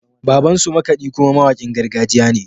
Babansu makaɗi kuma mawakin gargajiya ne.